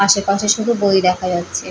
আশেপাশে শুধু বই দেখা যাচ্ছে।